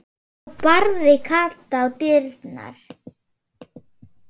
Þá barði Kata á dyrnar.